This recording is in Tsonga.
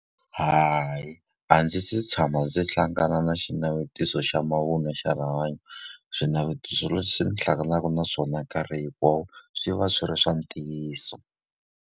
Hayi a ndzi se tshama ndzi hlangana na xinavetiso xa mavun'wa xa rihanyo. Swinavetiso leswi ni hlanganaka na swona nkarhi hinkwawo, swi va swi ri swa ntiyiso.